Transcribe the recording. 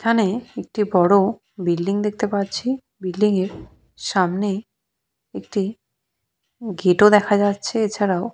এখানে একটি বড় বিল্ডিং দেখতে পাচ্ছি বিল্ডিং এর সামনে একটি গেট ও দেখা যাচ্ছে এছাড়াও --